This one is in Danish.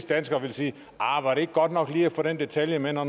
danskere vil sige ahr var det ikke godt lige at få den detalje med når